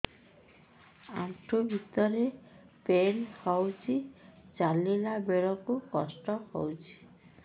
ଆଣ୍ଠୁ ଭିତରେ ପେନ୍ ହଉଚି ଚାଲିଲା ବେଳକୁ କଷ୍ଟ ହଉଚି